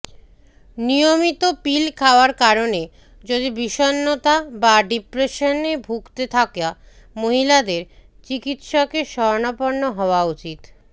নিয়মিত পিল খাওয়ার কারনে যদি বিষণ্নতা বা ডিপ্রেশনে ভুগতে থাকা মহিলাদের চিকিত্সকের শরণাপন্ন হওয়া উচিত